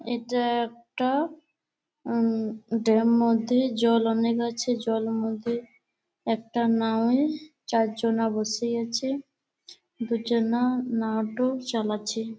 এটা একটা উম ডেম মধ্যে জল অনেক আছে। জলের মধ্যে একটা নাওয়ে চার্জনা বসে আছে দুজনা নাউটও চালাচ্ছে।